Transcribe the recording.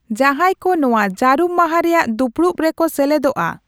ᱡᱟᱦᱟᱸᱭ ᱠᱚ ᱱᱚᱶᱟ ᱡᱟᱨᱩᱢ ᱢᱟᱦᱟ ᱨᱮᱭᱟᱜ ᱫᱩᱯᱲᱩᱵ ᱨᱮᱠᱚ ᱥᱮᱞᱮᱫᱚᱜᱼᱟ